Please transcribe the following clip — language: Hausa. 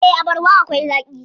Eh, abarba akwai zaaƙi.